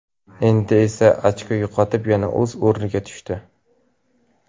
Endi esa ochko yo‘qotib, yana o‘z o‘rniga tushdi.